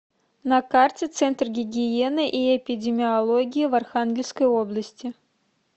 на карте центр гигиены и эпидемиологии в архангельской области